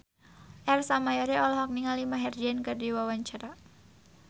Ersa Mayori olohok ningali Maher Zein keur diwawancara